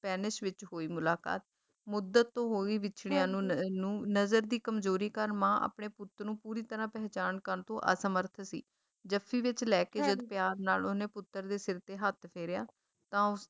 Spanish ਵਿੱਚ ਹੋਈ ਮੁਲਾਕਾਤ, ਮੁੱਦਤ ਤੋਂ ਹੋਈ ਵਿਛੜਿਆਂ ਨੂੰ ਨ ਨਜਰ ਦੀ ਕਮਜ਼ੋਰੀ ਕਾਰਨ ਮਾਂ ਆਪਣੇ ਪੁੱਤ ਨੂੰ ਪੂਰੀ ਤਰਾਂ ਪਹਿਚਾਣ ਕਰਨ ਤੋਂ ਅਸਮਰੱਥ ਸੀ ਜੱਫੀ ਵਿੱਚ ਲੈਕੇ ਜਦ ਪਿਆਰ ਨਾਲ ਉਹਨੇ ਪੁੱਤਰ ਦੇ ਸਿਰ ਤੇ ਹੱਥ ਫੇਰਿਆ ਤਾਂ ਉਸ